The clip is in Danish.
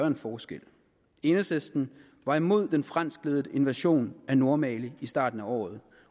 en forskel enhedslisten var imod den franskledede invasion af nordmali i starten af året